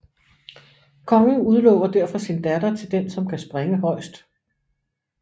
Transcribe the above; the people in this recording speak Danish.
Kongen udlover derfor sin datter til den som kan springe højest